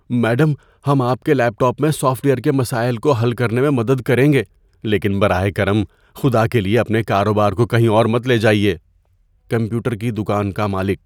Madam, ہم آپ کے لیپ ٹاپ میں سافٹ ویئر کے مسائل کو حل کرنے میں مدد کریں گے لیکن براہ کرم، خدا کے لیے اپنے کاروبار کو کہیں اور مت لے جائیے۔ (کمپیوٹر کی دکان کا مالک)